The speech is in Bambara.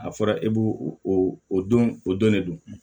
A fɔra e b'o o don o don de don